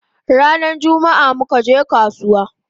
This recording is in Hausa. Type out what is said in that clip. Rana jummaa muka je kasuwa